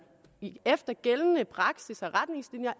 efter gældende praksis og retningslinjer